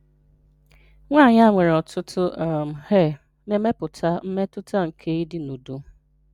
Nwanyị a nwere ọtụtụ um hair na-emepụta mmetụta nke ịdi n’udo.